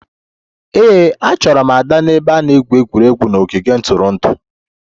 Ee, achọrọ m Ada n'ebe a na-egwu egwuregwu n'ogige ntụrụndụ